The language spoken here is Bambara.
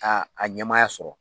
Aa a ɲɛmaya sɔrɔ